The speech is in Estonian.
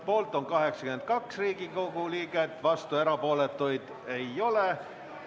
Poolt on 82 Riigikogu liiget, vastuolijaid ja erapooletuid ei ole.